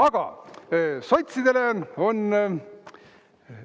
Aga sotsidele on …